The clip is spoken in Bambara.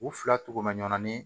U fila togo ma ɲamanin